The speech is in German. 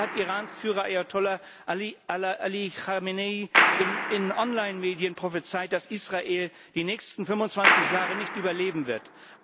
Erst heute hat Irans Führer Ayatollah Ali Khamenei in Online Medien prophezeit, dass Israel die nächsten 25 Jahre nicht überleben wird.